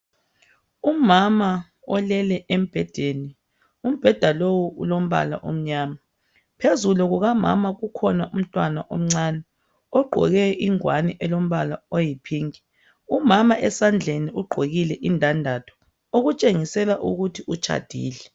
Umama olele embhedeni umbeda lowu ulombala omnyama phezulu kukamama kukhona umntwana omncane ogqoke ingwane elombala oyi pink umama esandleni ugqokile indandatho okutshengisela ukuthi utshadile .